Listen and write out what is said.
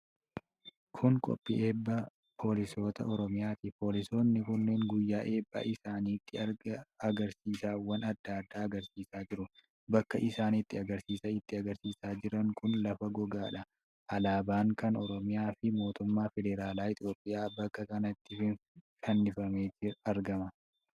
Kun qophii eebba poolisoota Oromiyaati. Poolisoonni kunneen guyyaa eebba isaanitti agarsiisawwan adda addaa agarsiisaa jiru. Bakka isaan itti agarsiisa itti agarsiisaa jiran kun lafa goggogaadha. Alaabaan kan Oromiyaa fi Mootummaa Federaala Itoophiyaa bakka kanatti fannifamee argama.